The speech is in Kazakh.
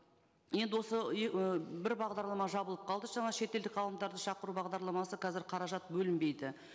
енді осы бір бағдарлама жабылып қалды жаңа шетелдік ғалымдарды шақыру бағдарламасы қазір қаражат бөлінбейді